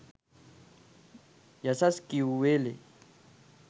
යසස් කියූ වේලේ